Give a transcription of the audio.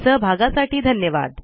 सहभागासाठी धन्यवाद